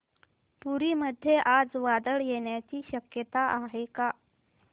पुरी मध्ये आज वादळ येण्याची शक्यता आहे का